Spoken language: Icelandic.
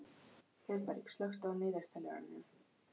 Heiðberg, slökktu á niðurteljaranum.